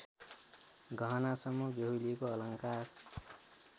गहनासम्म बेहुलीको अलङ्कार